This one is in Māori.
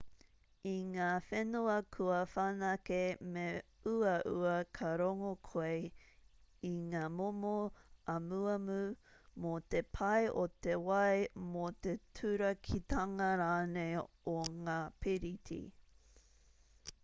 i ngā whenua kua whanake me uaua ka rongo koe i ngā momo amuamu mō te pai o te wai mō te turakitanga rānei o ngā piriti